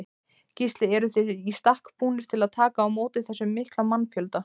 Gísli: Eruð þið í stakk búnir til að taka á móti þessum mikla mannfjölda?